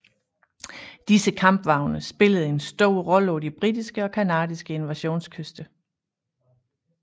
Disse kampvogne spillede en stor rolle på de britiske og canadiske invasionskyster